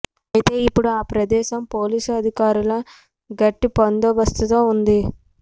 ఐతే ఇప్పుడు ఆ ప్రదేశం పోలీసు అధికారుల గట్టి బందోబస్తుతో ఉంది